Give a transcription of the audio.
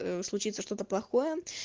э случится что-то плохое